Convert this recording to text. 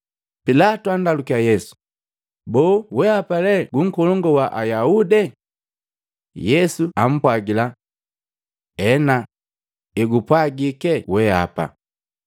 Pilatu andalukiya Yesu, “Boo wehapa lee gu Nkolongu wa Ayaude?” Yesu jaapwagila. “Ena, ngati egupwagike weapa.”